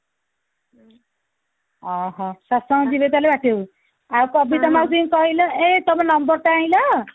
ଅହହୋ ସତସଙ୍ଗ ଯିବେ ତାହେଲେ ବାଟିବାକୁ ଆଉ କବିତା ମାଉସୀ ଙ୍କୁ କହିଲୁ ଏଇ ତାଙ୍କ number ଟା ଆଣିଲ